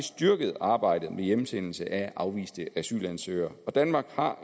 styrket arbejdet med hjemsendelse af afviste asylansøgere danmark har